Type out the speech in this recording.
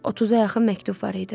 30-a yaxın məktub var idi.